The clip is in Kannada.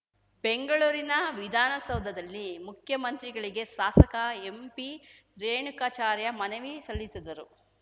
ಬೆಂಗಳೂರಿನ ವಿಧಾನಸೌಧದಲ್ಲಿ ಮುಖ್ಯಮಂತ್ರಿಗಳಿಗೆ ಶಾಸಕ ಎಂಪಿ ರೇಣುಕಾಚಾರ್ಯ ಮನವಿ ಸಲ್ಲಿಸಿದರು